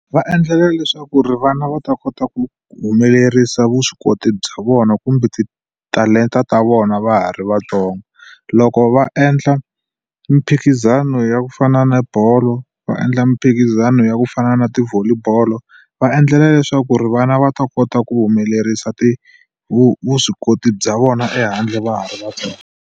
Va endlela leswaku ri vana va ta kota ku humelerisa vuswikoti bya vona kumbe titalenta ta vona va ha ri vatsongo. Loko va endla miphikizano ya ku fana na bolo, va endla miphikizano ya ku fana na ti-volley bolo va endlela leswaku ri vana va ta kota ku humelerisa vuswikoti bya vona ehandle va ha ri vatsongo.